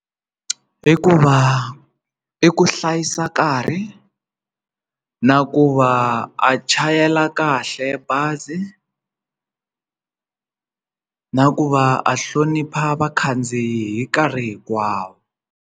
I ku va i ku hlayisa nkarhi na ku va a chayela kahle bazi na ku va a vakhandziyi hi nkarhi hinkwawo.